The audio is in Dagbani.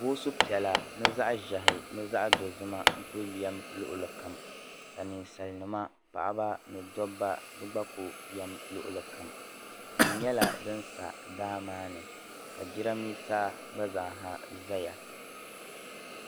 Boosu piɛla ni zaɣ'ʒehi ni zaɣ'dozim ma yɛm lɔɣili kam ninsalinima paɣ'ba ni dabba gba Ku yɛm lɔɣili kam tia nyɛla din sa daa maani ka jiramiisa gba zaaha zaya.